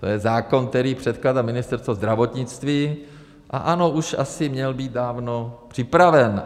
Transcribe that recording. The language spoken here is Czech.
To je zákon, který předkládá Ministerstvo zdravotnictví, a ano, už asi měl být dávno připraven.